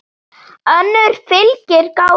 önnur fylgir gáta